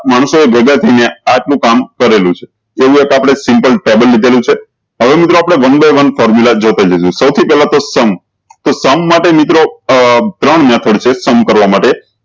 માનશો એ ભેગા થઇ ને આટલું કામ કરેલુ છે એવું તો આપળે સિંગલ ટેબલ લીધેલું છે હવે મિત્રો આપળે one by one જોતા જજો સૌ થી પેહલા તો sum તો sum માટે મિત્રો આ ત્રણ method છે sum કરવા માટે